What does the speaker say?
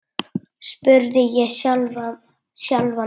spurði ég sjálfan mig.